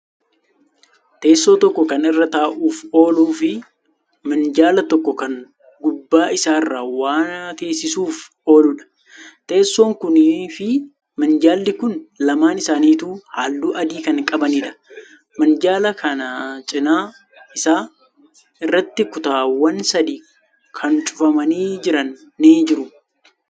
Teessoo tokko Kan irra taa'uuf oolufi minjaala tokko Kan gubbaa isaarra waa teessisuuf oluudha. Teessoon kuniifi minjaalli Kuni lamaan isaanituu halluu adii Kan qabaniidha. minjaala. kan cinaa isaa. irratti kutaawwan sadi Kan cufamanii jiran ni jiru.